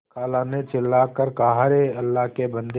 खाला ने चिल्ला कर कहाअरे अल्लाह के बन्दे